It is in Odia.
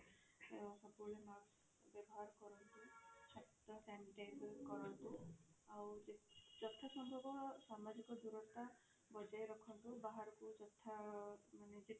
ଅ ସବୁ ବେଳେ mask ବ୍ୟବହାର କରନ୍ତୁ ହାତ sanitizer କରନ୍ତୁ ଆଉ ଯଥା ସମ୍ଭବ ସାମାଜିକ ଦୂରତା ବଜାୟ ରଖନ୍ତୁ ବାହାରକୁ ଯଥା ମାନେ ଯେତେ